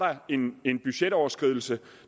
en en budgetoverskridelse